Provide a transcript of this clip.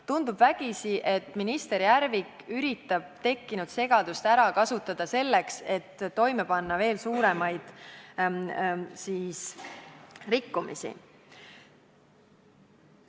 Tundub vägisi, et minister Järvik üritab tekkinud segadust ära kasutada selleks, et toime panna veel suuremaid rikkumisi.